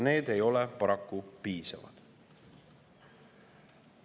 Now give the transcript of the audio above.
Need ei ole paraku piisavad.